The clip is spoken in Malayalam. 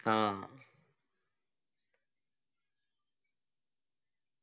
ആ